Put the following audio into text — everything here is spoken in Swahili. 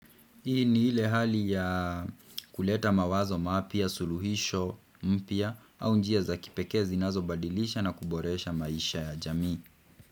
Hii ni ile hali ya kuleta mawazo mapya suluhisho mpya au njia za kipekee zinazobadilisha na kuboresha maisha ya jamii.